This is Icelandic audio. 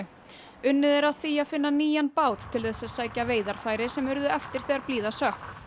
unnið er að því að finna nýjan bát til þess að sækja veiðarfæri sem urðu eftir þegar blíða sökk